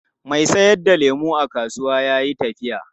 Mai sayar da lemu a kasuwan ya yi tafiya.